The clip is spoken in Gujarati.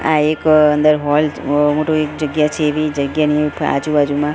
આ એક અંદર હૉલ મોટુ એક જગ્યા છે એવી જગ્યાની આજુ બાજુમાં.